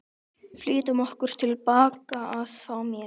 Flýttum okkur tilbaka að fá meir.